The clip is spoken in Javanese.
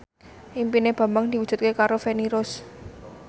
impine Bambang diwujudke karo Feni Rose